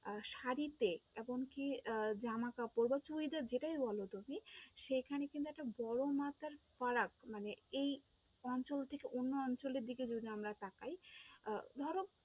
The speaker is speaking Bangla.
আহ শাড়িতে এমনকি আহ জামা-কাপড়েতেও এটা যেটাই বলো তুমি সেইখানে কিন্তু একটা বড়ো মার্কা ফারাক এই অঞ্চল থেকে অন্য অঞ্চলের দিকে যদি আমরা তাকাই আহ ধরো